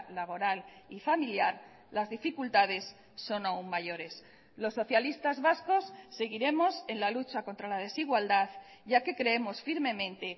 laboral y familiar las dificultades son aun mayores los socialistas vascos seguiremos en la lucha contra la desigualdad ya que creemos firmemente